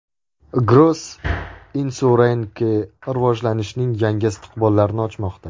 Gross Insurance rivojlanishning yangi istiqbollarini ochmoqda.